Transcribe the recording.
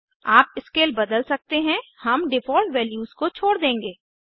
आप स्केल बदल सकते हैं हम डिफ़ॉल्ट वैल्यूज को छोड़ देंगे